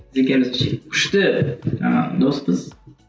біз екеуміз күшті жаңағы доспыз